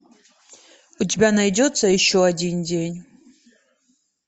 у тебя найдется еще один день